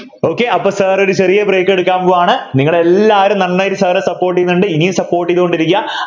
okay അപ്പൊ Sir ഒരു ചെറിയ Break എടുക്കാൻ പോവുകയാണ് നിങ്ങളെല്ലാവരും നന്നായിട്ട് Sir നെ Support ചെയ്യുന്നുണ്ട് ഇനിയും Support ചെയ്തുകൊണ്ടിരിക്കുക